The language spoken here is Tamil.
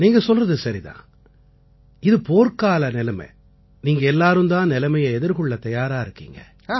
நீங்க சொல்றது சரிதான் இது போர்க்கால நிலைமை நீங்க எல்லாரும் தான் நிலைமையை எதிர்கொள்ளத் தயாரா இருக்கீங்க